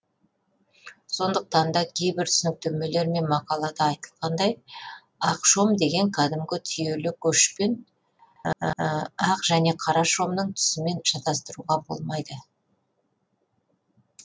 сондықтан да кейбір түсініктемелер мен мақалада айтылғанындай ақ шом дегенді кәдімгі түйелі көшпен ақ және қара шомның түсімен шатастыруға болмайды